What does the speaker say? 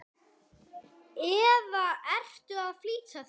eða ertu að flýta þér?